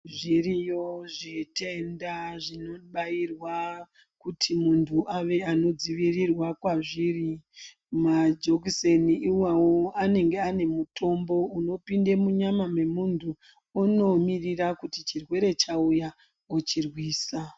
Zviriyo zvitenda zvinobairwa kuti muntu ave anodzivirirwa kwazviri, majekiseni iwawo anenge ane mitombo unopinde munyama momuntu onomirira kuti chirwere chauya ochirwisa.